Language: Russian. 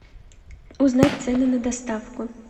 узнать цены на доставку